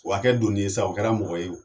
O ka kɛ doni ye sa o kɛra mɔgɔ ye